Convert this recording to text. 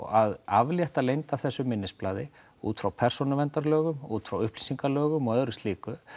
að aflétta leynd á þessu minnisblaði út frá persónuverndarlögum útfrá upplýsingalögum og öðru slíku